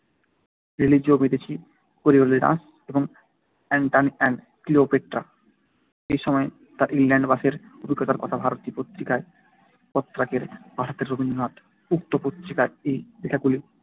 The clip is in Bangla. রিলিজিও মেদিচি, কোরিওলেনাস এবং অ্যান্টনি অ্যান্ড ক্লিওপেট্রা। এই সময় তার ইংল্যান্ডবাসের অভিজ্ঞতার কথা ভারতী পত্রিকায় পত্রাকারে পাঠাতেন রবীন্দ্রনাথ। উক্ত পত্রিকায় এই লেখাগুলি